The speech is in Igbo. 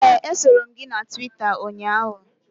Ee, esoro m gị na Twita ụnyaahụ